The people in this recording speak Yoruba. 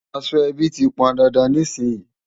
Aṣọ ẹbí ti pọn dandan nísìnyín.